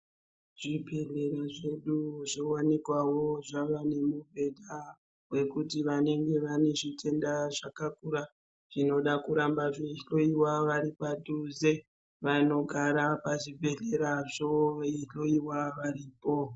Zvibhedhlera zvedu zvowanikwawo zvavane mibhedha wekuti vantu Vanenge vane zvitenda zvakakura zvinoda kuramba zveihloiwa padhuze vanogara pazvibhedhlerazvo veihloiwa varipo.